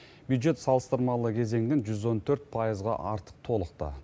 бюджет салыстырмалы кезеңнен жүз он төрт пайызға артық толықты